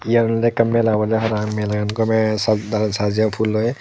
yen olodey ekkan mela obodey parapang melagan gomey sad sajeyon pulloi.